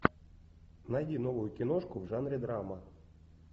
найди новую киношку в жанре драма